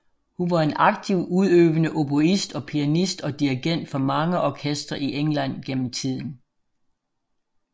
Hun var aktivt udøvende oboist og pianist og dirigent for mange orkestre i England gennem tiden